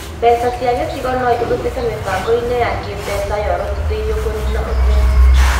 Mbeca cia gĩcigo no ihũthĩke mĩbango-inĩ ya kĩĩmbeca yorotithĩirio kũniina ũthĩni